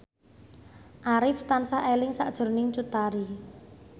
Arif tansah eling sakjroning Cut Tari